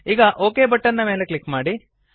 ಈಗ OK button ನ ಮೇಲೆ ಕ್ಲಿಕ್ ಮಾಡಿ